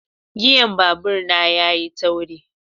giyan babur na yayi tauri.